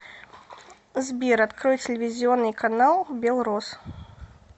сбер открой телевизионный канал белрос